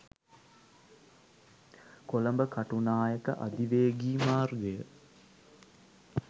කොළඹ කටුනායක අධිවේගී මාර්ගය